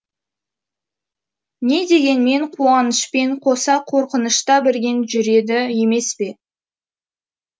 не дегенмен қуанышпен қоса қорқынышта бірге жүреді емес пе